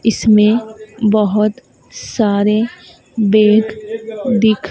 इसमें बहोत सारे बेड दिख--